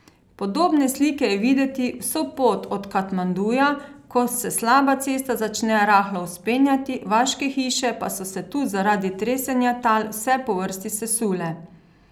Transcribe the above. Podobne slike je videti vso pot od Katmanduja, ko se slaba cesta začne rahlo vzpenjati, vaške hiše pa so se tu zaradi tresenja tal vse po vrsti sesule.